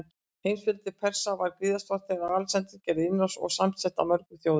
Heimsveldi Persa var gríðarstórt þegar Alexander gerði innrás, og samsett af mörgum þjóðum.